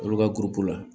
Olu ka la